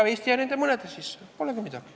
No Eesti jääb nende mõnede riikide sekka ja polegi midagi.